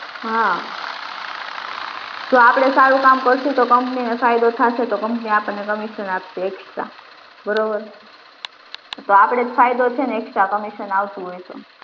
હા જો આપડે સારું કામ કરશુ તો company ને ફાયદો થશે તો કંપની આપણને commission આપશે extra બરોબર તો આપડે જ ફાયદો છે ને extra commission આવતું હોય તો